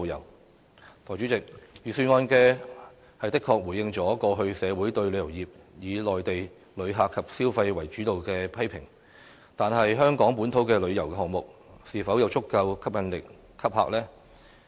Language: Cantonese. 代理主席，預算案的確回應了過去社會對旅遊業以內地旅客及消費為主導的批評，但是，香港本土的旅遊項目，是否有足夠吸引力吸客呢？